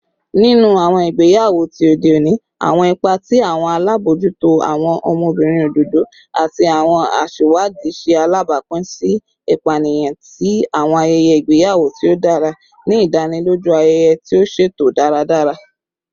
Ninu awọn igbeyawo ti ode oni, awọn ipa ti awọn alabojuto, awọn ọmọbirin ododo, ati awọn aṣiwadi ṣe alabapin si ipaniyan ti awọn ayẹyẹ igbeyawo ti o dara, ni idaniloju ayẹyẹ ti o ṣeto daradara.